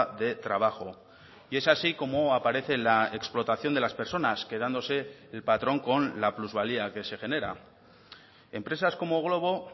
de trabajo y es así como aparece la explotación de las personas quedándose el patrón con la plusvalía que se genera empresas como glovo